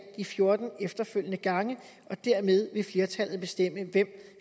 de fjorten efterfølgende gange og dermed vil flertallet bestemme hvem